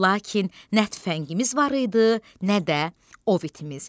Lakin nə tüfəngimiz var idi, nə də ov itimiz.